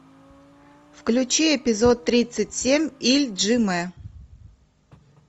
включи эпизод тридцать семь ильджимэ